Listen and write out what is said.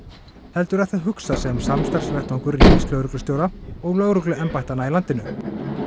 heldur er það hugsað sem samstarfsvettvangur ríkislögreglustjóra og lögregluembættanna í landinu